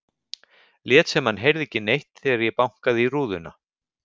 Lét sem hann heyrði ekki neitt þegar ég bankaði í rúðuna.